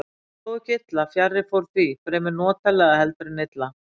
Og þó ekki illa, fjarri fór því, fremur notalega heldur en illa.